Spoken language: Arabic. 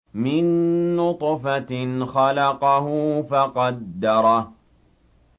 مِن نُّطْفَةٍ خَلَقَهُ فَقَدَّرَهُ